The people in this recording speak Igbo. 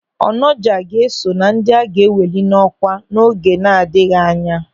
Onoja ga-eso na ndị a ga-eweli n'ọkwa n'oge na-adịghị anya.